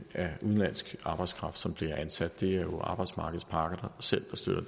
er udenlandsk arbejdskraft som bliver ansat det er jo arbejdsmarkedets parter der selv har styr